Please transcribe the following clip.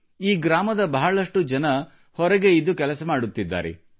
ಈ ಗ್ರಾಮದ ಬಹಳಷ್ಟು ಜನರು ಹೊರಗೆ ಇದ್ದು ಕೆಲಸ ಮಾಡುತ್ತಿದ್ದಾರೆ